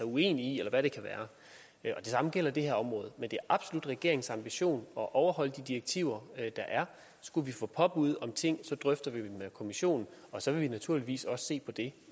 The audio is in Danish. uenig i eller hvad det kan være det samme gælder det her område men det er absolut regeringens ambition at overholde de direktiver der er skulle vi få påbud om ting drøfter vi dem med kommissionen og så vil vi naturligvis også se på det